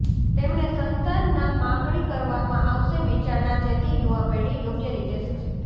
તેમણે સંતાન ના માગણી કરવામાં આવશે વિચારણા જેથી યુવા પેઢી યોગ્ય રીતે શિક્ષિત